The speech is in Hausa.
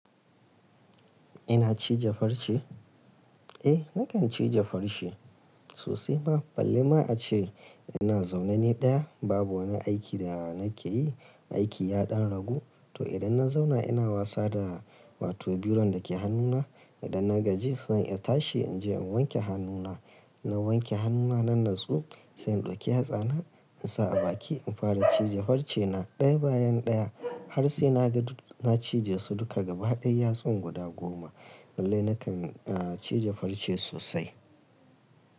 Ina cije farce? Eh, nakan cije farce sosai ma. Balle ma a ce ina zaune ni ɗaya, babu wani aiki da nake yi, aiki ya ɗan ragu. To idan na zauna ina wasa da wato biro da ke hannuna. Idan na gaji sai in tashi in je in wanke hannuna. Na wanke hannuna nan na natsu sai in ɗauki yatsana in sa a baki in fara cije farce na ɗaya bayan ɗaya har sai na ga duk na cije su duka gaba ɗaya yatsun guda goma. Lalle nakan, ah cije farce sosai.